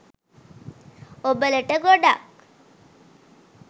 ඔබලට ගොඩක්